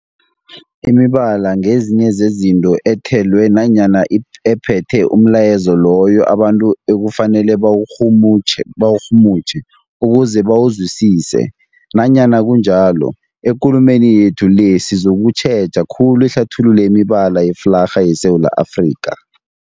Imibala ngezinye zezinto ethelwe nanyana i ephethe umlayezo loyo abantu ekufanele bawurhumutjhe bawurhumutjhe ukuze bawuzwisise. Nanyana kunjalo, ekulumeni yethu le sizokutjheja khulu ihlathululo yemibala yeflarha yeSewula Afrika.